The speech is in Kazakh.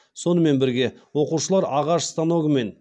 сонымен бірге оқушылар ағаш станогымен